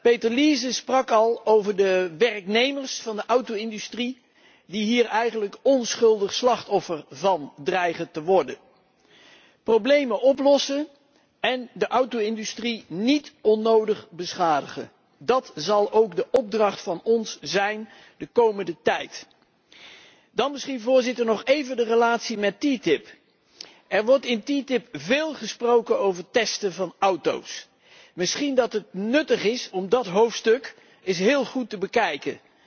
Peter Liese sprak al over de werknemers van de auto industrie, die hier eigenlijk onschuldig het slachtoffer van dreigen te worden. Problemen oplossen en de auto industrie niet onnodig beschadigen, dat zal ook onze opdracht zijn in de komende tijd. Dan misschien, Voorzitter, nog even de relatie met TTIP. Er wordt in TTIP veel gesproken over het testen van auto's. Misschien dat het nuttig is om dat hoofdstuk eens heel goed te bekijken.